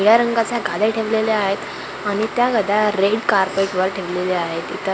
या रंगाच्या गाद्या ठेवलेल्या आहेत आणि त्या गाद्या रेड कार्पेटवर ठेवलेल्या आहेत इथं--